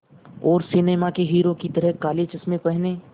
और सिनेमा के हीरो की तरह काले चश्मे पहने